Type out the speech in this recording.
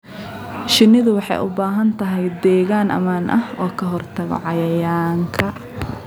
Shinnidu waxay u baahan tahay deegaan ammaan ah oo ka hortagga cayayaanka.